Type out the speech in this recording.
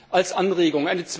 Dies als Anregung.